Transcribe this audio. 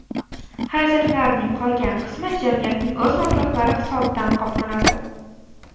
Xarajatlarning qolgan qismi jamiyatning o‘z mablag‘lari hisobidan qoplanadi.